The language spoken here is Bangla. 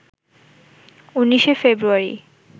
১৯শে ফেব্রুয়ারী